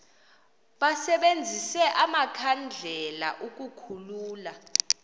basebenzise amakhandlela ukukhulula